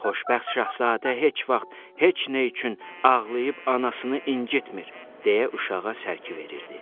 Xoşbəxt Şahzadə heç vaxt heç nə üçün ağlayıb anasını incitmir, deyə uşağa sərki verirdi.